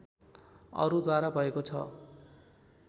अरू द्वारा भएको छ